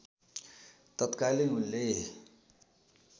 तत्कालै उनले